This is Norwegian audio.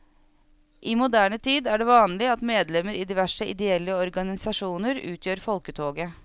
I moderne tid er det vanlig at medlemmer i diverse ideelle organisasjoner utgjør folketoget.